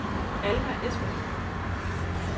Alma Espersen